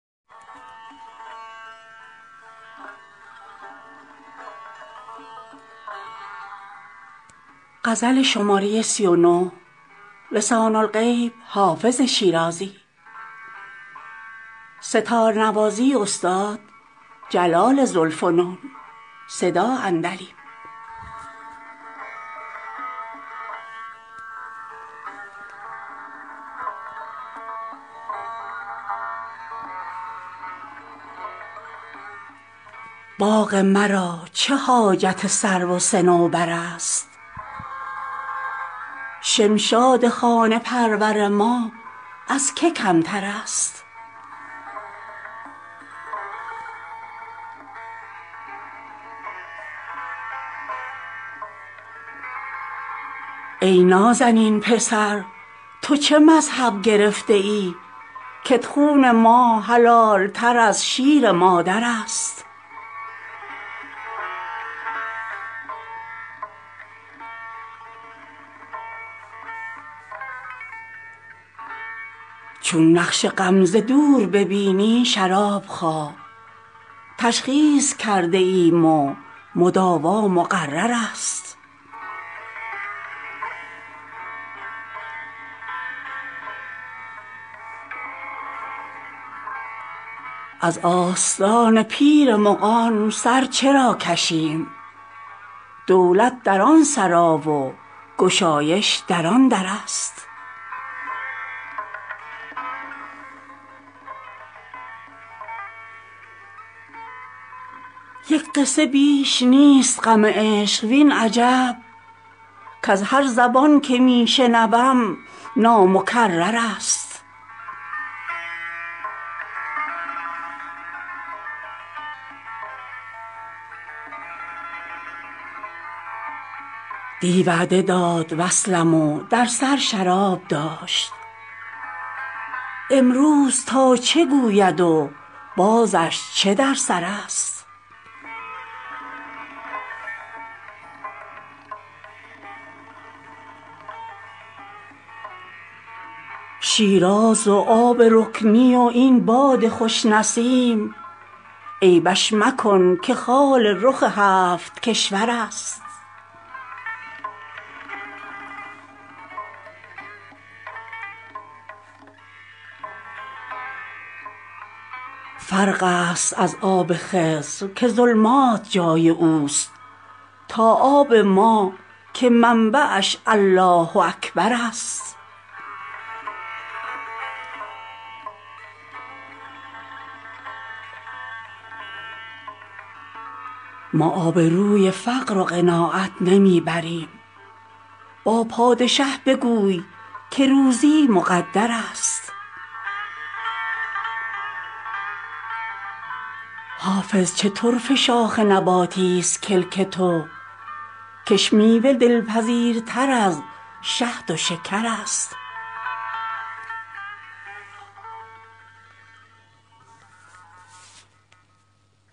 باغ مرا چه حاجت سرو و صنوبر است شمشاد خانه پرور ما از که کمتر است ای نازنین پسر تو چه مذهب گرفته ای کت خون ما حلال تر از شیر مادر است چون نقش غم ز دور ببینی شراب خواه تشخیص کرده ایم و مداوا مقرر است از آستان پیر مغان سر چرا کشیم دولت در آن سرا و گشایش در آن در است یک قصه بیش نیست غم عشق وین عجب کز هر زبان که می شنوم نامکرر است دی وعده داد وصلم و در سر شراب داشت امروز تا چه گوید و بازش چه در سر است شیراز و آب رکنی و این باد خوش نسیم عیبش مکن که خال رخ هفت کشور است فرق است از آب خضر که ظلمات جای او است تا آب ما که منبعش الله اکبر است ما آبروی فقر و قناعت نمی بریم با پادشه بگوی که روزی مقدر است حافظ چه طرفه شاخ نباتیست کلک تو کش میوه دلپذیرتر از شهد و شکر است